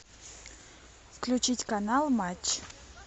включить канал матч